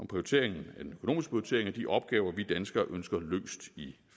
prioritering af de opgaver vi danskere ønsker løst i